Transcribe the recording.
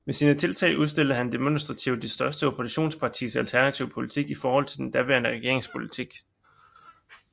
Ved sine tiltag udstillede han demonstrativt det største oppositionspartis alternative politik i forhold til den daværende regerings politik